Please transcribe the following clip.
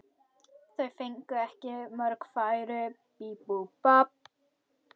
Þeir fengu ekki mörg færi.